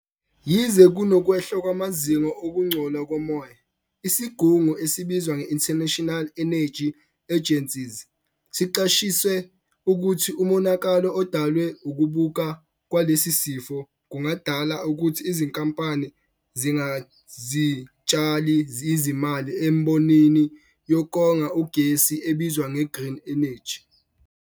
Yize kunokwehla kwamazinga okungcola komoya, isigungu esibizwa nge-International Energy Agency siqwashise ukuthi umonakalo odalwe ukuqubuka kwalesi sifo kungadala ukuthi izinkampani zingazitshali izimali embonini yokonga ugesi ebizwa nge-green energy.